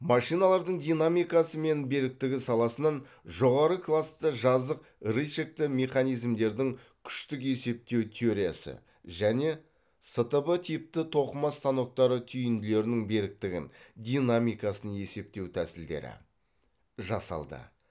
машиналардың динамикасы мен беріктігі саласынан жоғары класты жазық рычагті механизмдердің күштік есептеу теориясы және стб типті тоқыма станоктары түйінділерінің беріктігін динамикасын есептеу тәсілдері жасалды